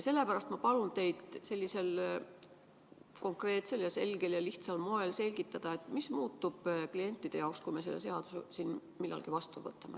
Sellepärast ma palun teid konkreetsel, selgel ja lihtsal moel selgitada, mis muutub klientide jaoks, kui me selle seaduse siin millalgi vastu võtame.